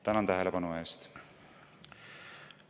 Tänan tähelepanu eest!